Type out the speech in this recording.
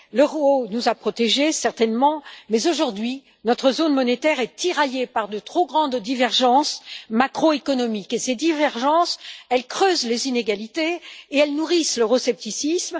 L'euro nous a protégés, certainement, mais aujourd'hui, notre zone monétaire est tiraillée par de trop grandes divergences macroéconomiques, et ces divergences creusent les inégalités et nourrissent l'euroscepticisme.